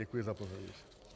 Děkuji za pozornost.